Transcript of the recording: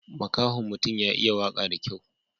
Makahon mutun ya iya waka da kyau.